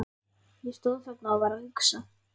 Ég stóð þarna og var að hugsa.